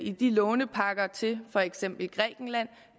i de lånepakker til for eksempel grækenland